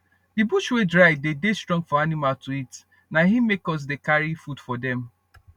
d bush wey dry dey dey strong for animal to eat na im make us dey carry food for dem